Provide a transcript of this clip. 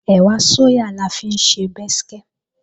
Ẹ̀wà sóyà la ó fi ṣe bẹ́skẹ́